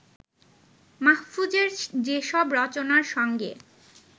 মাহফুজের যেসব রচনার সঙ্গে